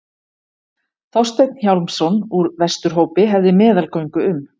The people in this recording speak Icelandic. Þorsteinn Hjálmsson úr Vesturhópi hefði meðalgöngu um.